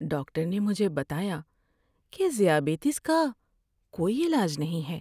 Doctor نے مجھے بتایا کہ ذیابیطس کا کوئی علاج نہیں ہے۔